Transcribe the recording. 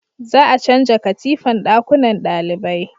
za a canja katifan dakunnan dalibai